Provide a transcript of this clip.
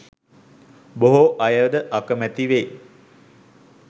බොහෝ අයද අකමැති වෙයි.